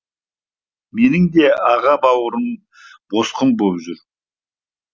менің де аға бауырым босқын боп жүр